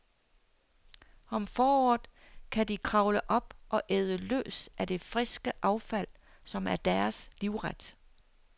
Om foråret kan de kravle op og æde løs af det friske affald, som er deres livret.